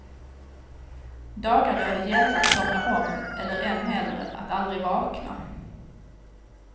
Dagar då det gällde att somna om eller än hellre att aldrig vakna.